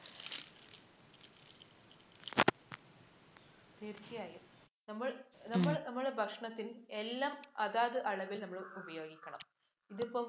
തീര്‍ച്ചയായും. നമ്മള്‍ നമ്മള്‍ടെ ഭക്ഷണത്തില്‍ എല്ലാം അതാതളവില്‍ നമ്മള്‍ ഉപയോഗിക്കണം. ഇതിപ്പം